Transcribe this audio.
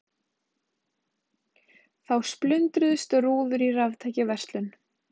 Þá splundruðust rúður í raftækjaverslun